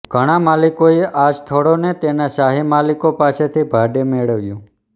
ઘણાં માલિકોએ આ સ્થળને તેના શાહી માલિકો પાસેથી ભાડે મેળવ્યું